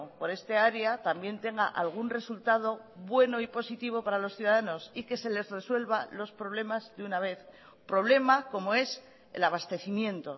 por esta área también tenga algún resultado bueno y positivo para los ciudadanos y que se les resuelva los problemas de una vez problema como es el abastecimiento